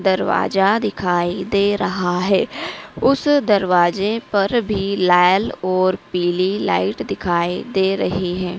दरवाजा दिखाई दे रहा है उस दरवाजे पर भी लाल और पीली लाइट दिखाई दे रही हैं।